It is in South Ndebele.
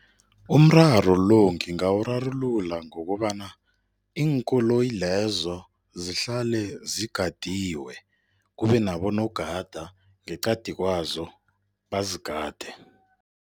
Umraro lo ngingawurarulula ngokobana iinkoloyi lezo zihlale zigadiwe, kube nabonogada ngeqadi kwazo bazigade.